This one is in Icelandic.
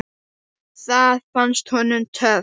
Það fannst honum töff.